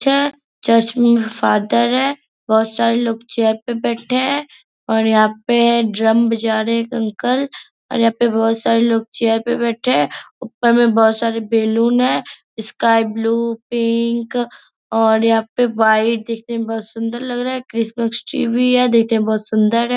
चे चर्च में फादर है बहोत सारे लोग चेयर पे बैठे हैं और यहाँ पे ड्रम बजा रहे एक अंकल और यहाँ पे बहोत सारे लोग चेयर पे बैठे हैं ऊपर में बहुत सारे बेलून हैं स्काई ब्लू पिंक और यहाँ पे वाइट देखने में बहुत सुंदर लग रहा है क्रिसमस ट्री भी है देखने में बहुत सुंदर है ।